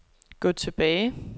gå tilbage